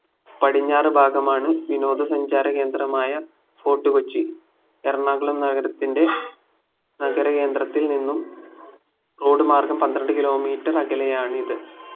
പടിഞ്ഞാറു ഭാഗമാണ് വിനോദ സഞ്ചാര കേന്ദ്രമായ ഫോർട്ട്കൊച്ചി എറണാകുളം നഗരത്തിന്റെ നഗര കേന്ദ്രത്തിൽ നിന്നും road മാർഗം പന്ത്രണ്ട് kilometre അകലെയാണിത്